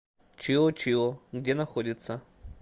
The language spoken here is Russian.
чио чио где находится